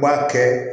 U b'a kɛ